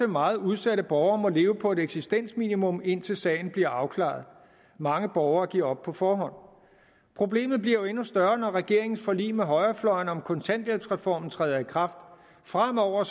meget udsatte borgere ofte må leve på et eksistensminimum indtil sagen bliver afklaret mange borgere giver op på forhånd problemet bliver jo endnu større når regeringens forlig med højrefløjen om kontanthjælpsreformen træder i kraft fremover